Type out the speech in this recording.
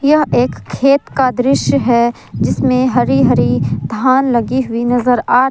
यह एक खेत का दृश्य है जिसमें हरी हरी धान लगी हुई नजर आ--